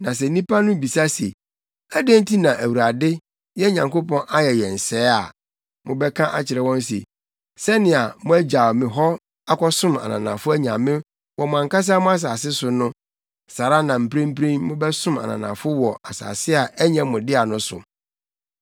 Na sɛ nnipa no bisa se, ‘Adɛn nti na Awurade, yɛn Nyankopɔn, ayɛ yɛn sɛɛ’ a, mobɛka akyerɛ wɔn se, ‘Sɛnea moagyaw me hɔ akɔsom ananafo anyame wɔ mo ankasa mo asase so no, saa ara na mprempren mobɛsom ananafo wɔ asase a ɛnyɛ mo dea no so.’